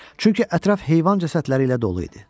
Çünki ətraf heyvan cəsədləri ilə dolu idi.